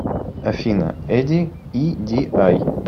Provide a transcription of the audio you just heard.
афина эди и ди ай